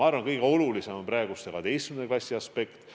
Ma arvan, et kõige olulisem on praegu 12. klassi aspekt.